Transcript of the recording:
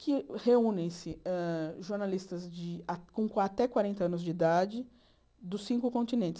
que reúnem-se hã jornalistas com até quarenta anos de idade dos cinco continentes.